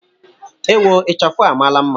Ewo! Ichafụ a amaala mma.